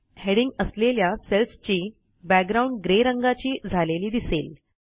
heading असलेल्या सेल्सची background grey रंगाची झालेली दिसेल